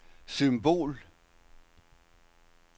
symbol